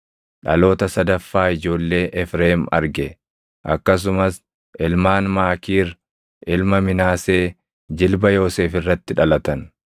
Dhaloota sadaffaa ijoollee Efreem arge. Akkasumas ilmaan Maakiir ilma Minaasee jilba Yoosef irratti dhalatan.